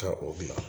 Ka o bila